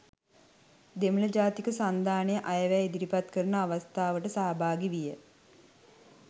දෙමළ ජාතික සන්ධානය අයවැය ඉදිරිපත් කරන අවස්ථාවට සහභාගී විය